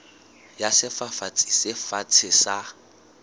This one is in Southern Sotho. ya sefafatsi se fatshe sa